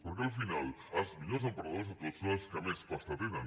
perquè al final els millors emprenedors de tots són els que més pasta tenen